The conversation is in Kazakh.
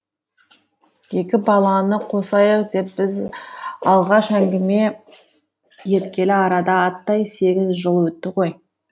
екі баланы қосайық деп біз алғаш әңгіме еткелі арада аттай сегіз жыл өтті ғой